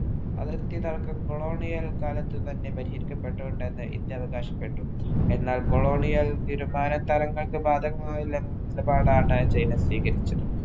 അതിർത്തിതർക്കം colonial കാലത്തുതന്നെ പരിഹരിക്കപ്പെട്ടൊണ്ടന്നെ India അവകാശപ്പെട്ടു. എന്നാല്‍ colonial തീരുമാനതരങ്ങൾക്ക് ബാധകമായ നിലപാടാണ് ചൈന സ്വീകരിച്ചത്.